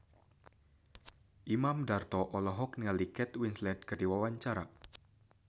Imam Darto olohok ningali Kate Winslet keur diwawancara